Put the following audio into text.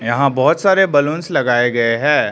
यहां बहोत सारे बलूंस लगाए गए हैं।